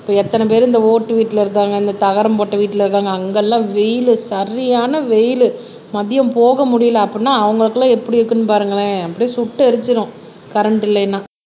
இப்ப எத்தன பேரு இந்த ஓட்டு வீட்டில இருக்காங்க இந்த தகரம் போட்ட வீட்டுல இருக்காங்க அங்கெல்லாம் வெயிலு சரியான வெயிலு மதியம் போக முடியலை அப்படின்னா அவங்களுக்கு எல்லாம் எப்படி இருக்குன்னு பாருங்களேன் அப்படியே சுட்டெரிச்சிரும் கரண்ட் இல்லைன்னா